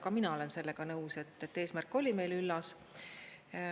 Ka mina olen sellega nõus, et eesmärk oli meil üllas.